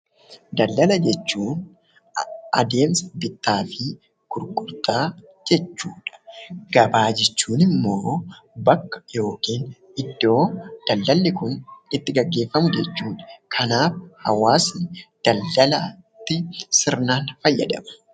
Daldalaa jechuun addemsa bitaa fi gurgurtaa jechuudha. Gabaa jechuun immoo bakka yookiin iddoo daldalii kun itti geggefammuu jechuudha. Kanaaf hawaasni daldalaatti sirnaan faayadaama.